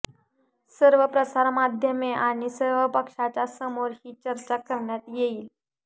सर्व प्रसारमाध्यमे आणि सर्व पक्षांच्या समोर ही चर्चा करण्यात येईल